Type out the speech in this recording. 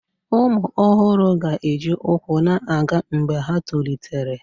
Ụmụ ọhụrụ ga-eji ụkwụ na-aga mgbe ha tolitere